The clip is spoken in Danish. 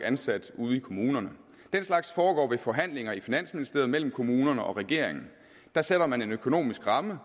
ansat ude i kommunerne den slags foregår ved nogle forhandlinger i finansministeriet mellem kommunerne og regeringen der sætter man en økonomisk ramme